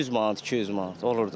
100 manat, 200 manat olur da.